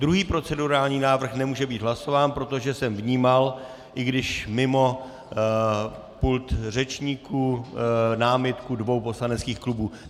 Druhý procedurální návrh nemůže být hlasován, protože jsem vnímal, i když mimo pult řečníků, námitku dvou poslaneckých klubů.